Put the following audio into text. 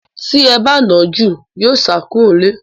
Tí ẹ ba nà án jù, yóò sá kúrò nílé.